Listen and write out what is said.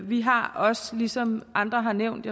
vi har også ligesom andre har nævnt